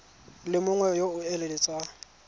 le mongwe yo o eletsang